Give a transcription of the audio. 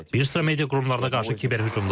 Bir sıra media qurumlarına qarşı kiberhücumlar.